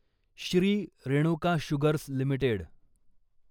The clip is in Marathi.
Shri Renuka sugars limited